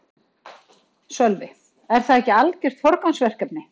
Sölvi: Er það ekki algjört forgangsverkefni?